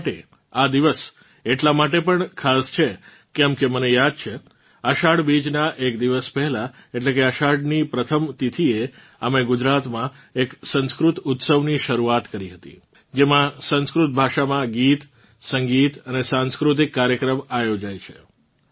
મારાં માટે આ દિવસ એટલાં માટે પણ ખાસ છે કેમકે મને યાદ છે અષાઢ બીજનાં એક દિવસ પહેલાં એટલે કે અષાઢની પ્રથમ તિથીએ અમે ગુજરાતમાં એક સંસ્કૃત ઉત્સવની શરૂઆત કરી હતી જેમાં સંસ્કૃત ભાષામાં ગીતસંગીત અને સાંસ્કૃતિક કાર્યક્રમ આયોજાય છે